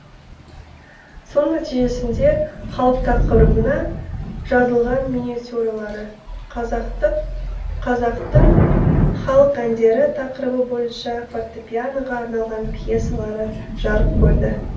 соның нәтижесінде халық тақырыбына жазылған миниатюралары қазақтың халық әндері тақырыбы бойынша фортепианоға арналған пьесалары жарық көрді